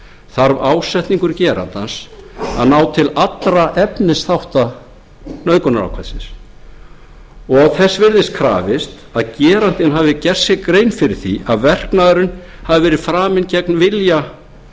þarf ásetningur gerandans að ná til allra efnisþátta nauðgunarákvæðisins og þess virðist krafist að gerandinn hafi gert sér grein fyrir því að verknaðurinn hafi verið framinn gegn vilja